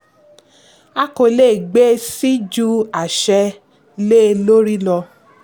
a kò le gbé síi ju àṣẹ lé lórí lọ.